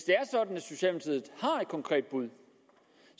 konkret bud